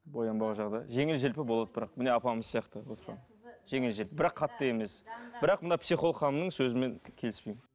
боянбау жағы да жеңіл желпі болады бірақ міне апамыз сияқты отырған жеңіл желпі бірақ қатты емес бірақ мына психолог ханымның сөзімен келіспеймін